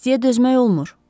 İstiyə dözmək olmur.